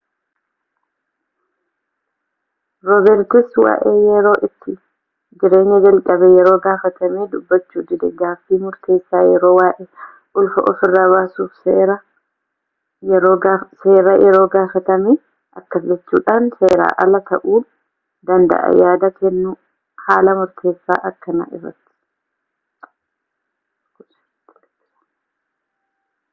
roobertis waa'ee yeroo itti jireenya jalqabee yeroo gafaatamee dubbachuu dide gaaffii murteessaa yeroo waa'ee ulfa ofiirra baasuuf seera yeroo gaafatamee akkas jechuudhan seeran alaa ta'uu danda'aa yaada kennun haala murteessa akkanaa irratti